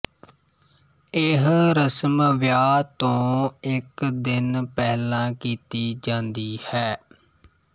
ਇਹ ਰਸਮ ਵਿਆਹ ਤੋਂ ਇੱਕ ਦਿਨ ਪਹਿਲਾ ਕੀਤੀ ਜਾਂਦੀ ਹੈ